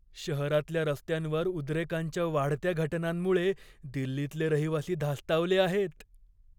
शहरातल्या रस्त्यांवर उद्रेकांच्या वाढत्या घटनांमुळे दिल्लीतले रहिवासी धास्तावले आहेत.